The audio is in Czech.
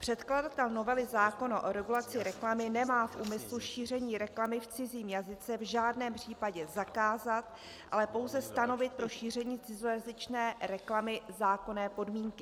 Předkladatel novely zákona o regulaci reklamy nemá v úmyslu šíření reklamy v cizím jazyce v žádném případě zakázat, ale pouze stanovit pro šíření cizojazyčné reklamy zákonné podmínky.